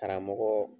Karamɔgɔ